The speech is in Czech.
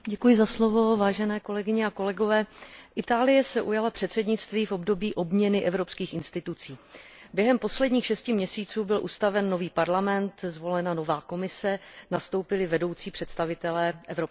Pane předsedající, Itálie se ujala předsednictví v období obměny evropských institucí. Během posledních šesti měsíců byl ustaven nový Parlament, zvolena nová Komise, nastoupili vedoucí představitelé Evropské unie.